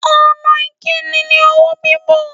Ọ̀nà ìkíni ni ọwọ́ bíbọ̀.